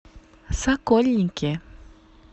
сокольники